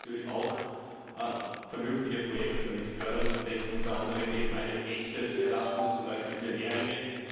Man sollte natürlich auch vernünftige Projekte damit fördern, da denke ich unter anderem an ein echtes Erasmus Programm, beispielsweise für Lehrlinge.